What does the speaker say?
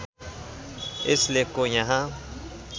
यस लेखको यहाँ